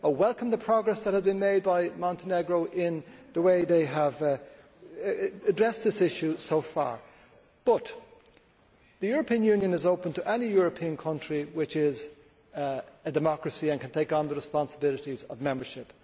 I welcome the progress that has been made by Montenegro in the way they have addressed this issue so far, but the European Union is open to any European country which is a democracy and can take on the responsibilities of membership.